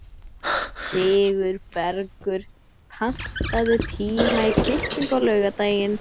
Sigurbergur, pantaðu tíma í klippingu á laugardaginn.